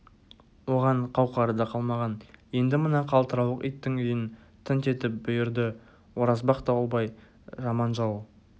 оған қауқары да қалмаған енді мына қалтырауық иттің үйін тінт деп бұйырды оразбақ дауылбай жаман жау